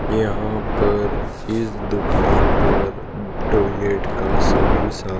यहां पर इस दुकान पर टॉयलेट का सभी सा--